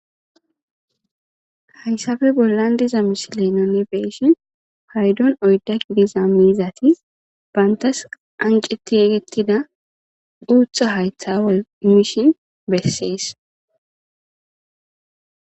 hayssafe bollan diza misi leenone beeshin haydon oyda gidiza miizatis bantas anqeti yegettida uutha haytha woy imishin bessees